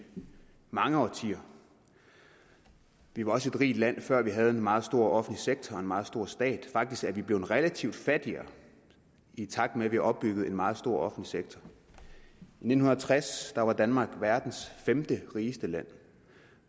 mange årtier vi var også et rigt land før vi havde en meget stor offentlig sektor og en meget stor stat faktisk er vi blevet relativt fattigere i takt med at vi har opbygget en meget stor offentlig sektor i nitten tres var danmark verdens femte rigeste land